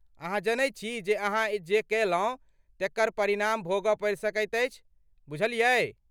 अहाँ जनैत छी जे अहाँ जे कएलहुँ, तेकर परिणाम भोगऽ पड़ि सकैत अछि, बुझलियै?